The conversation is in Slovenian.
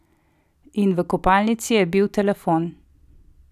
In v kopalnici je bil telefon!